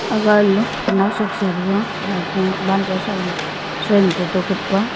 aga lo nawsak sa rega maipo wanjaw salo soiam photo khup pa.